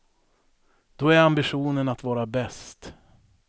Då är ambitionen att vara bäst.